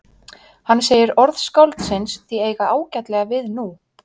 Hann segir orð skáldsins því eiga ágætlega við nú?